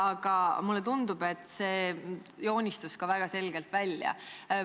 Aga mulle tundub, et see joonistus ka väga selgelt välja.